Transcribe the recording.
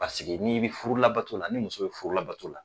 Paseke n'i bɛ furu labato la, ni muso bɛ furu labato la